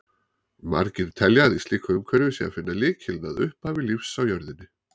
Margir telja að í slíku umhverfi sé að finna lykilinn að upphafi lífs á jörðinni.